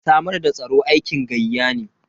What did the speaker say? Samar da tsaro aikin gayya ne.